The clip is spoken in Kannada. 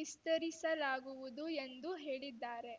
ವಿಸ್ತರಿಸಲಾಗುವುದು ಎಂದು ಹೇಳಿದ್ದಾರೆ